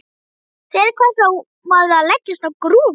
Til hvers á maður að leggjast á grúfu?